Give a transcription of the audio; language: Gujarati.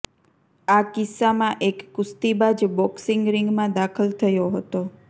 આ કિસ્સામાં એક કુસ્તીબાજ બોક્સિંગ રિંગમાં દાખલ થયો હતો